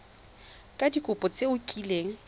ka dikopo tse o kileng